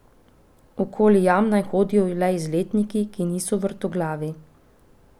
Okoli jam naj hodijo le izletniki, ki niso vrtoglavi.